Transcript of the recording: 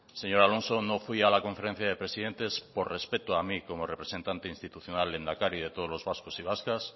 señor alonso no fui a la conferencia de presidentes por respeto a mí como representante institucional lehendakari de todos los vascos y vascas